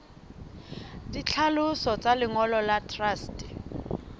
ditlhaloso tsa lengolo la truste